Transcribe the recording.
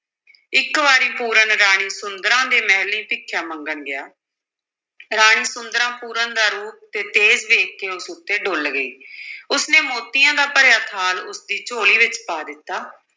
ਇਕ ਵਾਰੀ ਪੂਰਨ ਰਾਣੀ ਸੁੰਦਰਾਂ ਦੇ ਮਹਿਲੀਂ ਭਿਖਿਆ ਮੰਗਣ ਗਿਆ ਰਾਣੀ ਸੁੰਦਰਾਂ ਪੂਰਨ ਦਾ ਰੂਪ ਅਤੇ ਤੇਜ ਵੇਖ ਕੇ ਉਸ ਉੱਤੇ ਡੁੱਲ੍ਹ ਗਈ ਉਸ ਨੇ ਮੋਤੀਆਂ ਦਾ ਭਰਿਆ ਥਾਲ ਉਸ ਦੀ ਝੋਲੀ ਵਿੱਚ ਪਾ ਦਿੱਤਾ।